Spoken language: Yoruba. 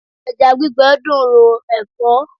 Ẹja gbígbẹ dùn ro ẹ̀fọ́.